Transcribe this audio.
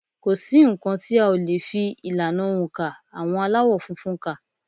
Kò sí nǹkan tí a ò le fi ìlànà oǹkà àwọn Aláwọ̀ funfun kà